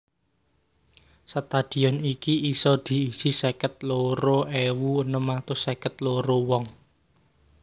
Stadion iki isa diisi seket loro ewu enem atus seket loro wong